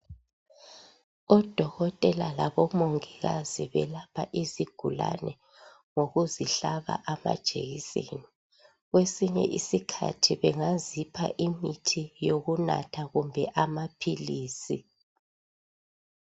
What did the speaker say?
Odokotela labo mongikazi belapha izigulane ngokuzihlaba amajekiseni, kwesinye iskhathi bengazipha imithi yokunatha kumbe amaphilizi.